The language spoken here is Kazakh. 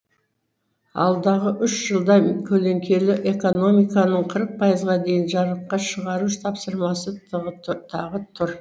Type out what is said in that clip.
алдағы үш жылда көлеңкелі экономиканың қырық пайызға дейін жарыққа шығару тапсырмасы тағы тұр